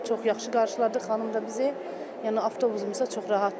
Çox yaxşı qarşıladıq, xanım da bizi, yəni avtobusumuz da çox rahatdır.